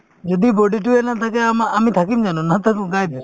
যদি body তোয়ে নাথাকে আমা~ আমি থাকিম জানো নাথাকো